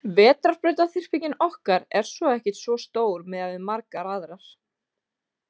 Vetrarbrautaþyrpingin okkar er svo ekkert svo stór miðað við margar aðrar.